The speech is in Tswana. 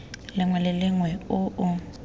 lengwe le lengwe o o